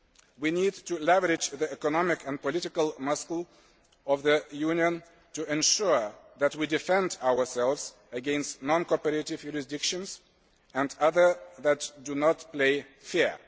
We need to leverage the economic and political muscle of the Union to ensure that we defend ourselves against non cooperative jurisdictions and others that do not play fair.